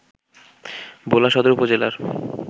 ভোলা সদর উপজেলার